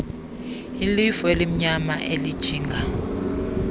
ilifu elimnyama elijinga